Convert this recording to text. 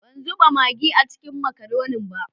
Ban zuba magi a ciki n makaronin ba.